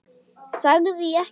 Sagði ég ekki?